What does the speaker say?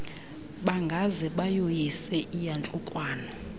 bangaze bayoyise iyantlukwano